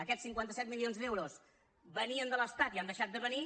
aquests cinquanta set milions d’euros venien de l’estat i han deixat de venir